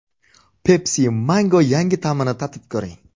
Pepsi Mango yangi ta’mini tatib ko‘ring!